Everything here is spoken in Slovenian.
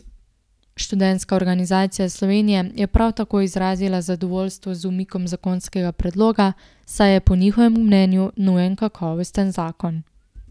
Študentska organizacija Slovenije je prav tako izrazila zadovoljstvo z umikom zakonskega predloga, saj je po njihovem mnenju nujen kakovosten zakon.